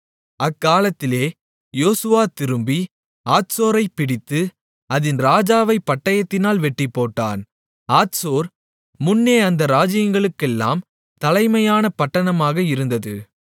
அக்காலத்திலே யோசுவா திரும்பி ஆத்சோரைப் பிடித்து அதின் ராஜாவைப் பட்டயத்தினால் வெட்டிப்போட்டான் ஆத்சோர் முன்னே அந்த ராஜ்யங்களுக்கெல்லாம் தலைமையான பட்டணமாக இருந்தது